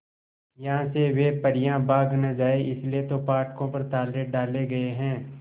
यहां से वे परियां भाग न जाएं इसलिए तो फाटकों पर ताले डाले गए हैं